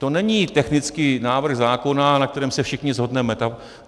To není technický návrh zákona, na kterém se všichni shodneme.